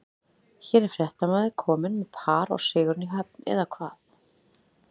Hér er fréttamaður kominn með par og sigurinn í höfn, eða hvað?